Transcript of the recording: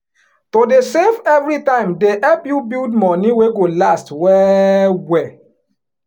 to dey save every time dey help you build money wey go last well well.